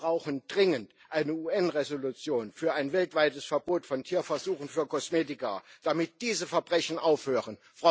Wir brauchen dringend eine UN Resolution für ein weltweites Verbot von Tierversuchen für Kosmetika, damit diese Verbrechen aufhören.